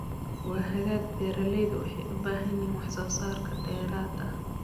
Waa hagaag beeralaydu waxay u baahan yihiin wax soo saar dheeraad ah.